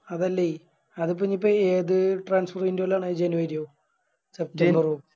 അതല്ലേ അത് പിന്നെ ഇപ്പൊ ഏത് ആണ് January ഓ September ഓ